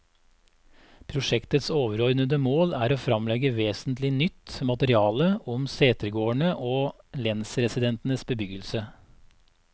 Prosjektets overordede mål er å fremlegge vesentlig nytt materiale om setegårdene og lensresidensenes bebyggelse.